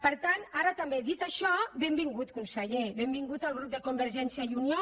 per tant ara també dit això benvingut conseller benvingut el grup de convergència i unió